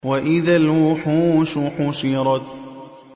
وَإِذَا الْوُحُوشُ حُشِرَتْ